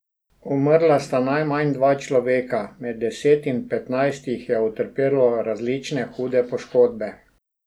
Umrla sta najmanj dva človeka, med deset in petnajst jih je utrpelo različno hude poškodbe.